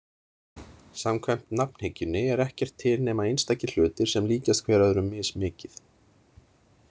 Samkvæmt nafnhyggjunni er ekkert til nema einstakir hlutir sem líkjast hver öðrum mismikið.